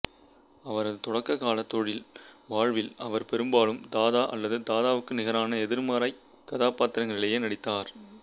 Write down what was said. அவரது தொடக்க கால தொழில் வாழ்வில் அவர் பெரும்பாலும் தாதா அல்லது தாதாவுக்கு நிகரான எதிர்மறைக் கதாபாத்திரங்களிலேயே நடித்தார்